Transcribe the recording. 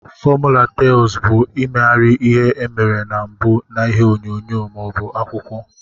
Fọmula tels bu imeghari ihe emere na mbu na ihe onyonyo ma obu akwụkwọ.